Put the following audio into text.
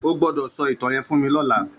Ó gbòdò sò itàn yèn fún mi lòlá